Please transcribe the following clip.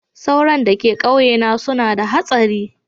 Tsoron da ka kauye na suna da hatsari.